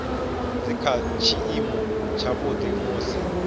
dzi kha tshiimo tshavhuḓi musi